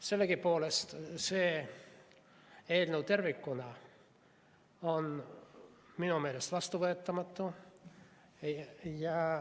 Sellegipoolest see eelnõu tervikuna on minu meelest vastuvõetamatu.